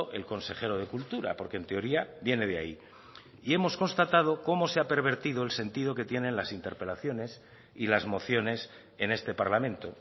el consejero de cultura porque en teoría viene de ahí y hemos constatado cómo se ha pervertido el sentido que tienen las interpelaciones y las mociones en este parlamento